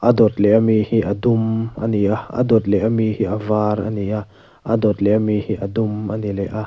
adawt leh ami hi a dum ani a a dawt leh ami hi a var ani a a dawt leh ami hi a dum ani leh a.